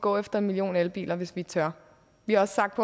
gå efter en million elbiler hvis vi tør vi har også sagt